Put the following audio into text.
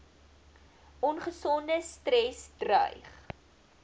ongesonde stres dreig